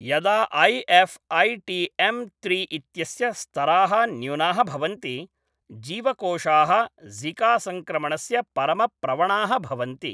यदा I F I T M त्रि इत्यस्य स्तराः न्यूनाः भवन्ति जीवकोशाः ज़िकासंक्रमणस्य परमप्रवणाः भवन्ति।